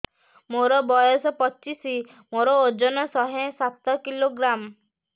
ମୋର ବୟସ ପଚିଶି ମୋର ଓଜନ ଶହେ ସାତ କିଲୋଗ୍ରାମ